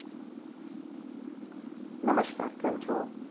નમસ્કાર કેમ છો?